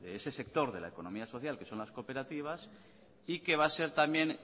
de ese sector de la economía social que son las cooperativas y que va a ser también